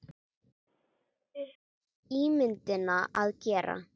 upp á ímyndina að gera.